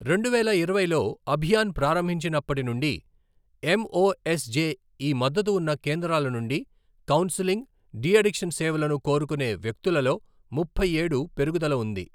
రెండు వేల ఇరవైలో అభియాన్ ప్రారంభించినప్పటి నుండి ఎంఓఎస్జెఈ మద్దతు ఉన్న కేంద్రాల నుండి కౌన్సెలింగ్, డి అడిక్షన్ సేవలను కోరుకునే వ్యక్తులలో ముప్పై ఏడు పెరుగుదల ఉంది.